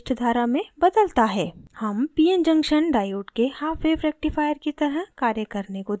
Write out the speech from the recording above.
हम pn junction diode के half wave rectifier की तरह कार्य करने को दिखायेंगे